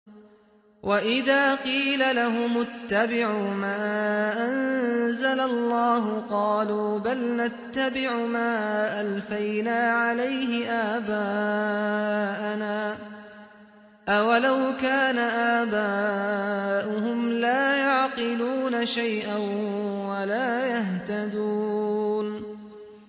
وَإِذَا قِيلَ لَهُمُ اتَّبِعُوا مَا أَنزَلَ اللَّهُ قَالُوا بَلْ نَتَّبِعُ مَا أَلْفَيْنَا عَلَيْهِ آبَاءَنَا ۗ أَوَلَوْ كَانَ آبَاؤُهُمْ لَا يَعْقِلُونَ شَيْئًا وَلَا يَهْتَدُونَ